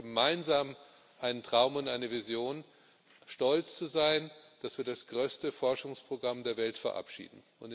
Wir haben gemeinsam einen Traum und eine Vision, stolz zu sein, dass wir das größte Forschungsprogramm der Welt verabschieden.